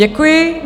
Děkuji.